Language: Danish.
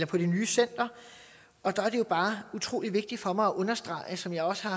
på det nye center og der er det bare utrolig vigtigt for mig at understrege som jeg også har